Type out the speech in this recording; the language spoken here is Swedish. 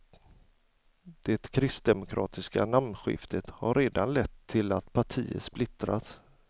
Det kristdemokratiska namnskiftet har redan lett til att partiet splittrats.